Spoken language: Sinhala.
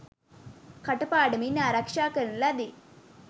කටපාඩමින් ආරක්ෂා කරන ලදී.